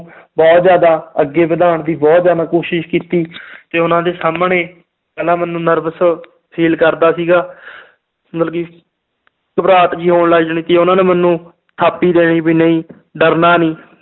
ਬਹੁਤ ਜ਼ਿਆਦਾ ਅੱਗੇ ਵਧਾਉਣ ਦੀ ਬਹੁਤ ਜ਼ਿਆਦਾ ਕੋਸ਼ਿਸ਼ ਕੀਤੀ ਤੇ ਉਹਨਾਂ ਦੇ ਸਾਹਮਣੇ ਪਹਿਲਾਂ ਮੈਨੂੰ nervous feel ਕਰਦਾ ਸੀਗਾ ਮਤਲਬ ਕਿ ਘਬਰਾਹਟ ਜਿਹੀ ਹੋਣ ਲੱਗ ਜਾਣੀ ਕਿ ਉਹਨਾਂ ਨੇ ਮੈਨੂੰ ਥਾਪੀ ਦੇਣੀ ਵੀ ਨਹੀਂ ਡਰਨਾ ਨੀ